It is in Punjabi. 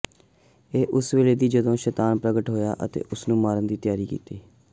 ਇਹ ਉਸੇ ਵੇਲੇ ਸੀ ਜਦੋਂ ਸ਼ੈਤਾਨ ਪ੍ਰਗਟ ਹੋਇਆ ਅਤੇ ਉਸ ਨੂੰ ਮਾਰਨ ਦੀ ਤਿਆਰੀ ਕੀਤੀ